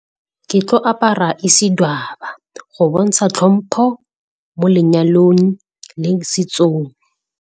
Ke tlo apara Isidwaba go bontsha tlhompho mo lenyalong le setsong.